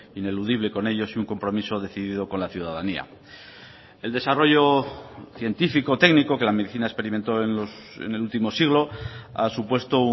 ineludible con ellos y un compromiso decidido con la ciudadanía el desarrollo científico o técnico que la medicina experimentó en el último siglo ha supuesto